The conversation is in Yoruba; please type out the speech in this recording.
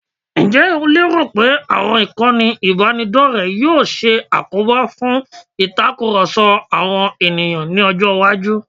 Ǹjẹ́ o lérò pé àwọn ìkànnì ìbánidọ́rẹ̀ẹ́ yóò ṣe àkóbá fún ìtakurọ̀sọ àwọn ènìyàn ní ọjọ́-iwájú?